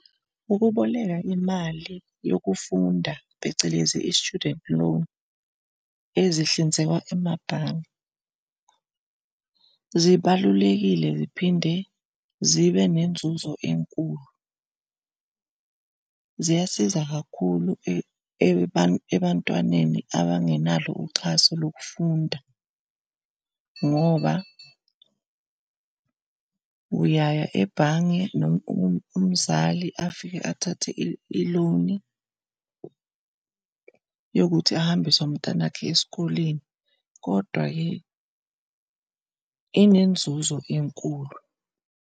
Ukuboleka imali yokufunda phecelezi i-student loan ezihlinzekwa emabhange, zibalulekile ziphinde zibe nenzuzo enkulu. Ziyasiza kakhulu ebantwaneni abangenalo uxhaso lokufunda, ngoba uyaya ebhange, umzali afike athathe i-loan yokuthi ahambise umntanakhe esikoleni kodwa-ke inenzuzo enkulu.